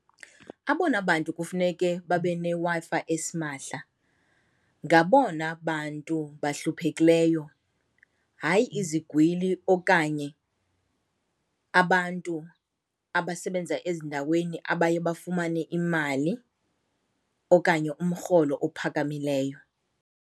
Abona bantu kufuneke babe neWi-Fi esimahla ngabona bantu bahluphekileyo, hayi izigwili okanye abantu abasebenza ezindaweni abaye bafumane imali okanye umrholo ophakamileyo.